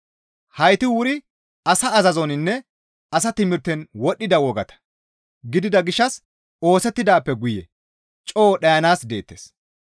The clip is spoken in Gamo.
Hayti wuri asa azazoninne asa timirten wodhdhida wogata gidida gishshas oosettidaappe guye coo dhayanaas deettes.